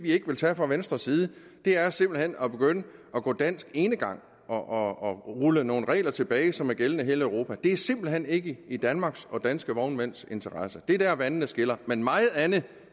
ikke vil tage fra venstres side er simpelt hen at begynde at gå dansk enegang og rulle nogle regler tilbage som er gældende i hele europa det er simpelt hen ikke i danmarks og danske vognmænds interesse det er dér vandene skiller men meget andet